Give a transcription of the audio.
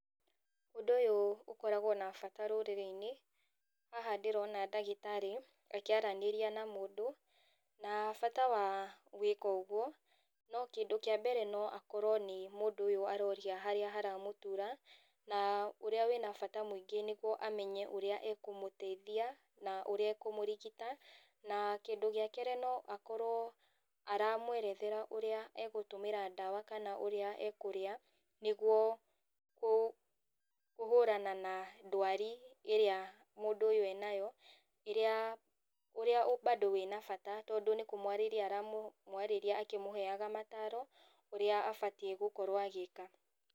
Ũndũ ũyũ ũkoragwo na bata rũrĩrĩinĩ, haha ndĩrona ndagĩtarĩ, akĩaranĩria na mũndũ, na bata wa gwĩka ũguo, no kĩndũ kĩa mbere no akorwo nĩ mũndũ ũyũ aroria harĩa haramũtura, na ũrĩa wĩna bata mũingĩ nĩguo amenye ũrĩa ekũmũteithia, na ũrĩa ekũmũrigita, na kĩndũ gĩa kerĩ no akorwo aramwerethera ũrĩa egũtũmĩra ndawa kana ũrĩa ekũrĩa, nĩguo kũ kũhũrana na ndwari ĩrĩa mũndũ ũyũ enayo, rĩrĩa ũrĩa bado wĩna bata tondũ nĩkũmwarĩria aramwarĩria akĩmũheaga mataro, ũrĩa abatiĩ gũkorwo agĩka.